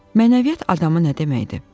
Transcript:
Mənəviyyat adamı nə deməkdir?